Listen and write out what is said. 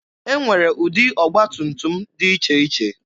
E nwere ụdị ọgba tum tum dị iche iche.